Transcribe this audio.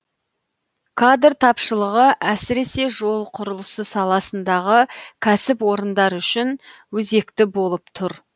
кадр тапшылығы әсіресе жол құрылысы саласындағы кәсіпорындар үшін өзекті болып тұр